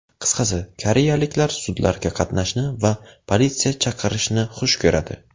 Qisqasi, koreyaliklar sudlarga qatnashni va politsiya chaqirishni xush ko‘radi.